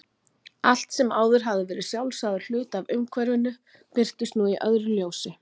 Allt sem áður hafði verið sjálfsagður hluti af umhverfinu birtist nú í öðru ljósi.